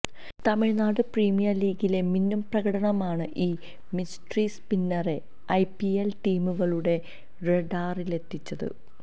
Tamil Nadu premier ലീഗിലെ മിന്നും പ്രകടനമാണ് ഈ മിസ്ട്രി സ്പിന്നറെ ഐപിഎല് ടീമുകളുടെ റഡാറിലെത്തിച്ചത്